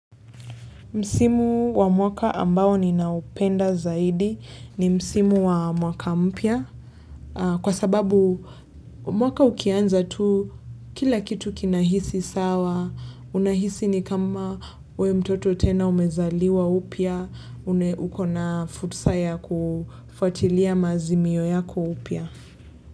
Msimu wa mwaka ambao ninaupenda zaidi ni msimu wa mwaka mpya kwa sababu mwaka ukianza tu kila kitu kinahisi sawa Unahisi ni kama wewe mtoto tena umezaliwa upya ukona futsa ya kufuatilia maazimio yako upya.